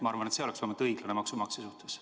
Ma arvan, et see oleks õiglane maksumaksja suhtes.